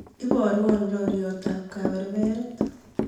iborwon roryot ab kaberberet